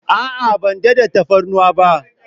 A'a, ban daɗa tafarnuwa ba.